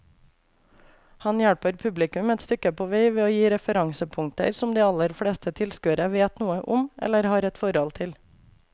Han hjelper publikum et stykke på vei ved å gi referansepunkter som de aller fleste tilskuere vet noe om eller har et forhold til.